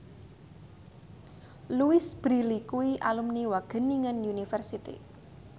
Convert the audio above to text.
Louise Brealey kuwi alumni Wageningen University